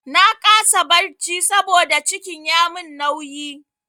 Na kasa barci saboda cikin ya mun nauyi.